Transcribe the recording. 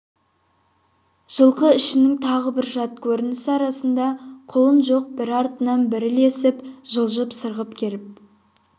жылқы ішінің тағы бір жат көрінісі арасында құлын жоқ бірі артынан бірі ілесіп жылжып сырғып келіп